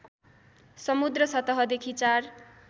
समुद्र सतहदेखि ४